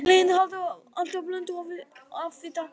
Matvæli innihalda alltaf blöndu af fitusýrum.